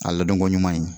A ladonko ɲuman ye